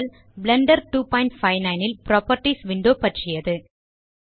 Blender 259 ல் properties window பற்றியது